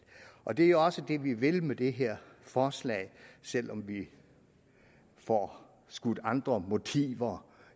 og det er jo også det vi vil med det her forslag selv om vi får skudt andre motiver